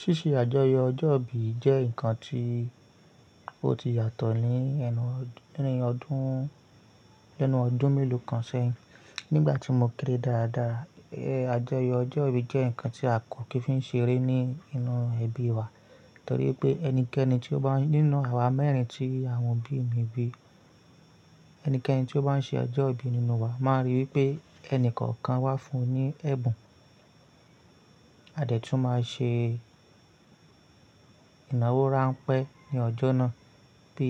Ṣíṣe àjọyọ̀ ọjọ́bí jẹ́ ǹkan tí ó ti yàtọ̀ nínú ọdún mélòó kan sẹ́yìn. Nígbà tí mo kéré dáadáa, àjọyọ̀ ọjọ́bí jẹ́ ǹkan tí a kò kí ń fi ṣeré nínú ẹbí wa. Nítorí pé ẹnikẹ́ni tí ó bá nínú àwa mẹ́rin tí àwọn bí mi bí, ẹnikẹ́ni tí ó bá ń ṣe ọjọ́ ìbí nínú wa máa rí pé ẹni kọ̀ọ̀kan wá fún un ní ẹ̀bùn. A dẹ̀ tún máa ṣe ìnáwó ránpẹ́ ní ọjọ́ náà bí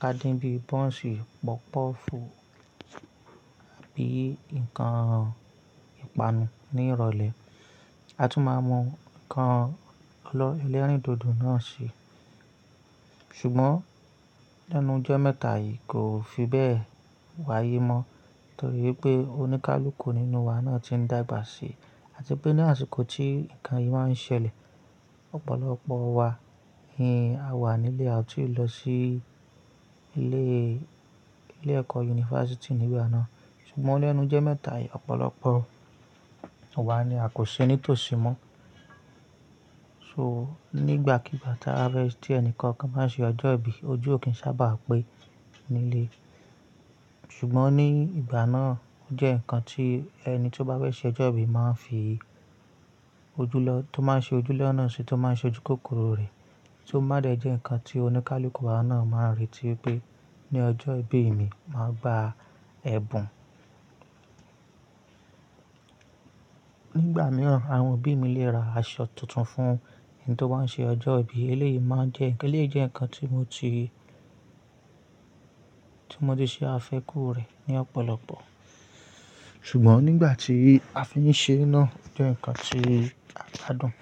ka dín bí bọ́ǹsì, pọ́pọ́fù àbí ǹkan ìpanu ní ìrọ̀lẹ́. A tún máa mú ǹkan olo ẹlẹ́rìndòdò náà ṣi. Ṣùgbọ́n lẹ́nu jomẹ́ta yìí kò fi bẹ́ẹ̀ wáyé mọ́. Nítorí pé oníkálukú nínú wa náà ti n dàgbà síi. Àti pé ní àsìkò tí ǹkan yìí máa ń ṣẹlẹ̀, ọ̀pọ̀lọpọ̀ wa ni a wà nílé, a ò tí ì lọ sí ile ilé-ẹ̀kọ́ yunifásítì nígbà náà. Ṣùgbọ́n lẹ́nu jẹ́ mẹ́ta yìí ọ̀pọ̀lọpọ̀ wa ni a kò ṣe nítòsí mọ́. So nígbàkigbà tí ẹnikọ̀ọ̀kan bá ṣe ọjọ́ ìbí, ojú ò kí ń sábà á pé nílé. Ṣùgbọ́n ní ìgbà náà ó jẹ́ ǹkan tí ẹni tí ó bá fẹ́ ṣe ọjọ́ ìbí máa fi ojú lọ, tó máa ṣe ojú lọ́ná ṣi, tó máa ṣe ojú kòkòrò rẹ̀. Tó bá dẹ jẹ́ ǹkan tí oníkálukú wa náà máa retí pé ní ọjọ́ ìbí mi, màá gba ẹ̀bùn. Nígbà mìíràn, àwọn obí mi lè ra aṣọ tuntun fún ẹni tí ó bá ń ṣe ọjọ́ ìbí. Eléyìí jẹ́ ǹkan tí mo ti ṣe àfẹ́kù rẹ̀ ní ọ̀pọ̀lọpọ̀. Ṣùgbọ́n nígbà tí a fi ń ṣe ná jẹ́ ǹkan tí a gbádùn.